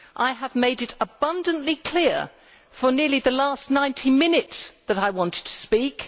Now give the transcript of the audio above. I have made it abundantly clear for nearly the last 90 minutes that I wanted to speak.